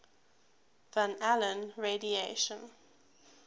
van allen radiation